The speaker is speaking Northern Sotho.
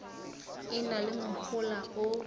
e na le mohola o